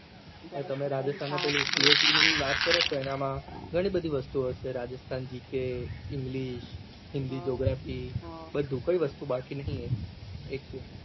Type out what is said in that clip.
હવે તમે Rajasthan માં પેલું chaet એના માં ઘણી બધી વસ્તુઓ છે Rajasthan જી કે એન્ગ્લીશ હિન્દી geography બધું કઈ વસ્તુ બાકી નહી એકે